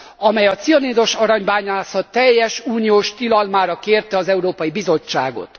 amely a cianidos aranybányászat teljes uniós tilalmára kérte az Európai Bizottságot.